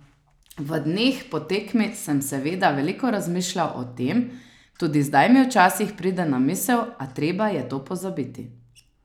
V dneh po tekmi sem seveda veliko razmišljal o tem, tudi zdaj mi včasih pride na misel, a treba je to pozabiti.